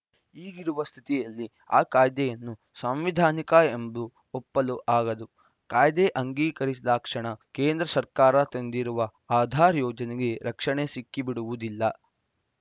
ಈಗಿರುವ ಸ್ಥಿತಿಯಲ್ಲಿ ಆ ಕಾಯ್ದೆಯನ್ನು ಸಂವಿಧಾನಿಕ ಎಂದು ಒಪ್ಪಲು ಆಗದು ಕಾಯ್ದೆ ಅಂಗೀಕರಿಸಿದಾಕ್ಷಣ ಕೇಂದ್ರ ಸರ್ಕಾರ ತಂದಿರುವ ಆಧಾರ್‌ ಯೋಜನೆಗೆ ರಕ್ಷಣೆ ಸಿಕ್ಕಿಬಿಡುವುದಿಲ್ಲ